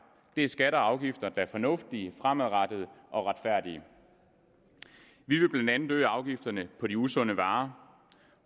det er skatter og afgifter der er fornuftige fremadrettede og retfærdige vi vil blandt andet øge afgifterne på de usunde varer